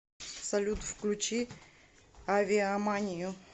салют включи авиаманию